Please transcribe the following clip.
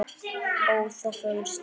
ó þá fögru steina